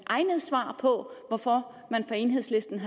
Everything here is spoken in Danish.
egnet svar på hvorfor man fra enhedslistens